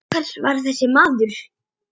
Hver var þessi maður?